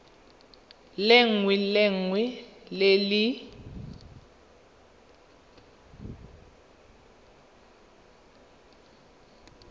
lengwe le lengwe le le